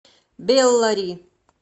беллари